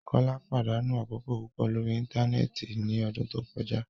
Kola padanu akoko pupọ lori íńtánẹ́ẹ̀tì ni ọdun to kọja